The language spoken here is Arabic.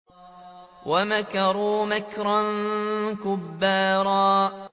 وَمَكَرُوا مَكْرًا كُبَّارًا